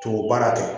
Tubabu baara tɛ